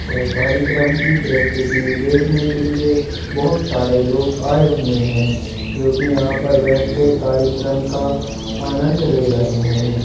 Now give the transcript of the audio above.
यह कार्यक्रम की प्रस्तुति देखने के लिए बहुत सारे लोग आए हुए हैं जो कि यहाँ पर बैठकर कार्यक्रम का आनंद ले रहे हैं।